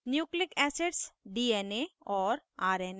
* nucleic acids dna और rna